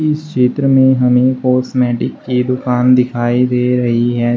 इस चित्र में हमे कॉस्मेटिक की दुकान दिखाई दे रही है।